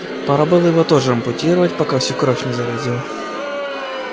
пора было его тоже ампутировать пока всю кровь не заразил